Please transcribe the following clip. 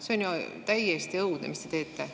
See on ju täiesti õudne, mis te teete!